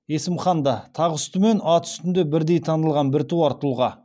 есім хан да тақ үсті мен ат үстінде бірдей танылған біртуар тұлға